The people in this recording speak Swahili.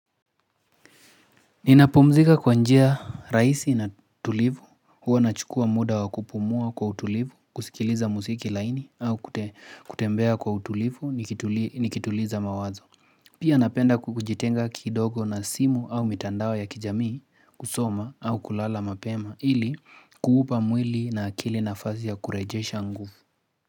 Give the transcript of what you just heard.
Ninapumzika kwa njia rahisi na tulivu. Huwa nachukua muda wa kupumua kwa utulivu, kusikiliza musiki laini au kutembea kwa utulivu nikituliza mawazo. Pia napenda kujitenga kidogo na simu au mitandao ya kijamii kusoma au kulala mapema ili kuupa mwili na akili nafasi ya kurejesha nguvu.